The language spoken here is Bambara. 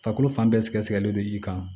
Farikolo fan bɛɛ sigɛlen don i kan